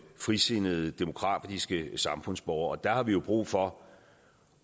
frisindede demokratiske samfundsborgere og der har vi jo brug for